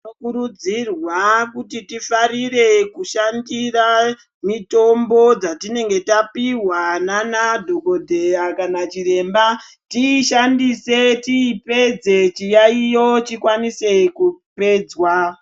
Tinokurudzirwa kuti tifarire kufarira kushandis mitombo dzatinenge tapiwa nadhogodheya kana chiremba tiishandise tiyipedze chiyaiyo chikwanise kupedzwa.